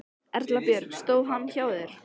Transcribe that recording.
Erla Björg: Stóð hann hjá þér?